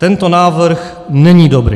Tento návrh není dobrý.